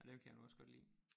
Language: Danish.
Nej dem kan jeg nu også godt lide